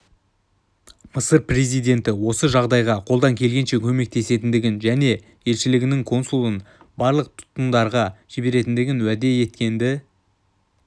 мысыр президенті осы жағдайға қолдан келгенше көмектесетіндігін және елшілігінің консулын барлық тұтқындалғандарға жіберетіндігін уәде еткенді